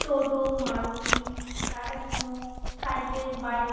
toto Maruti Tata -Sumo cycle bike --